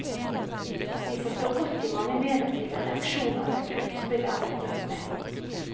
Vi forstår godt de mange negative reaksjoner dette utspill er blitt møtt med.